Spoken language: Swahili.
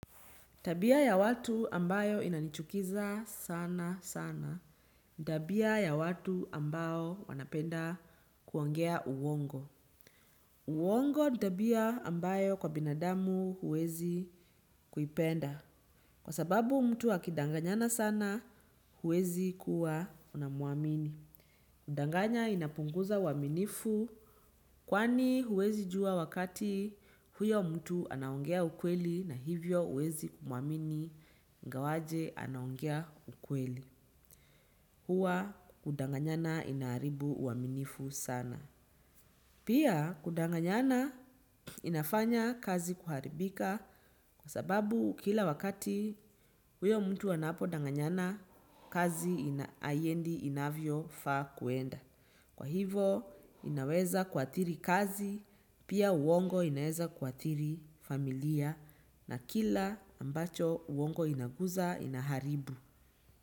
Tabia ya watu ambayo inanichukiza sana sana ni tabia ya watu ambao wanapenda kuongea uongo. Uongo ni tabia ambayo kwa binadamu huwezi kuipenda. Kwa sababu mtu akidanganyana sana, huwezi kuwa unamuamini. Kudanganya inapunguza uaminifu kwani huwezi jua wakati huyo mtu anaongea ukweli na hivyo huwezi kumuamini ingawaje anaongea ukweli. Huwa kudanganyana inaharibu uaminifu sana. Pia kudanganyana inafanya kazi kuharibika kwa sababu kila wakati huyo mtu anapodanganyana kazi haiendi inavyofaa kwenda. Kwa hivyo, inaweza kuathiri kazi, pia uongo inaweza kuathiri familia na kila ambacho uongo inagusa inaharibu.